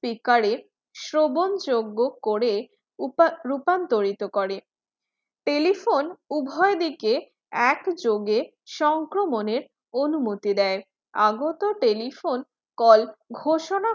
speaker শ্রবণযোগ্য করে রূপান্তরিত করে telephone উভয়ে দিকে একযোগে সক্রমণে অনুমুতি দেয় আগত telephone call ঘোষণাটি